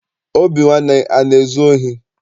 Obinwanne ana ezu ohi?